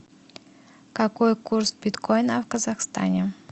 какой курс биткоина в казахстане